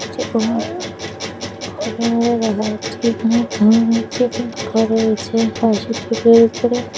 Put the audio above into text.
ঘরের মধ্যে দেখা যাচ্ছে এখানে একটি পাশে একটি